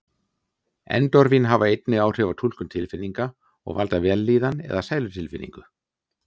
Endorfín hafa einnig áhrif á túlkun tilfinninga og valda vellíðan eða sælutilfinningu.